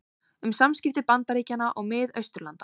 Um samskipti Bandaríkjanna og Mið-Austurlanda